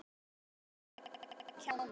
Þetta eru bara kjánar.